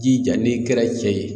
Jija n'i kɛra cɛ ye.